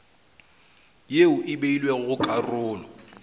ye e beilwego go karolo